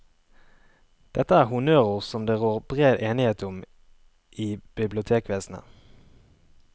Dette er honnørord som det rår bred enighet om i bibliotekvesenet.